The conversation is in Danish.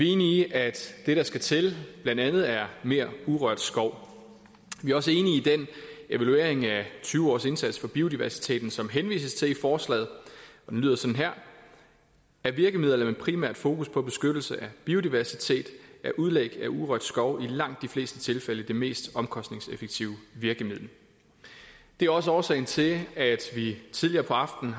enige i at det der skal til blandt andet er mere urørt skov vi er også enige i den evaluering af tyve års indsats for biodiversiteten som der henvises til i forslaget den lyder sådan her af virkemidler med primært fokus på beskyttelse af biodiversitet er udlæg af urørt skov i langt de fleste tilfælde det mest omkostningseffektive virkemiddel det er også årsagen til at vi tidligere på aftenen